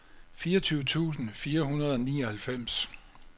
fireogtyve tusind fire hundrede og nioghalvfems